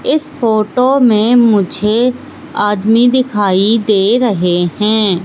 इस फोटो में मुझे आदमी दिखाई दे रहे हैं।